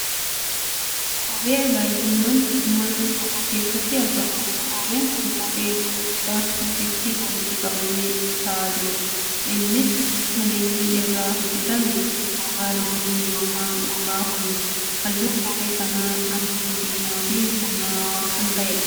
Kophee baayyinaan mana tokko keessatti argamudha. Kopheen kun kophee gurgurtaaf asitti walitti qabamee taa'aa jirudha. Innis kan inni irraa hojjatame gogaa loonii yookaan gogaa horiiti. Halluun kophee kanaa ammii diimaafi bunnaawwaa kan ta'anidha.